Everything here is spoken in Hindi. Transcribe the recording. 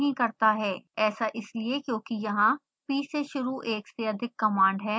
ऐसा इसलिए क्योंकि यहाँ p से शुरू एक से अधिक कमांड हैं